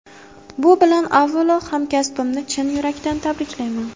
Bu bilan avvalo hamkasbimni chin yurakdan tabriklayman.